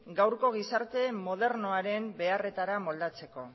gaurko gizarte modernoaren beharretara moldatzeko